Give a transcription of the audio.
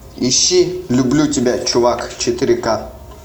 ищи люблю тебя чувак четыре ка